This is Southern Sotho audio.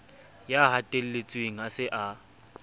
ya hatelletsweng a se a